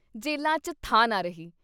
ਜੇਲ੍ਹਾਂ ’ਚ ਥਾਂ ਨਾ ਰਹੀ।